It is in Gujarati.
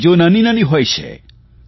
ચીજો નાનીનાની હોય છે